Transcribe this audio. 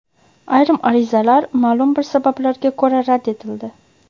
Ayrim arizalar maʼlum bir sabablarga ko‘ra rad etildi.